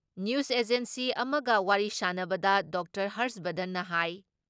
news agency ꯑꯃꯒ ꯋꯥꯔꯤ ꯁꯥꯟꯅꯕꯗ ꯗꯣꯛꯇꯔ ꯍꯔꯁ ꯕꯔꯙꯟꯅ ꯍꯥꯏ